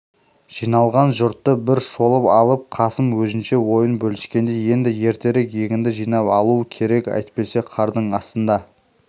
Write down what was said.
жиналған жұртты бір шолып алып қасым өзінше ойын бөліскендей енді ертерек егінді жинап алу керек әйтпесе қардың астында